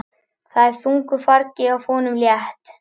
Það er þungu fargi af honum létt.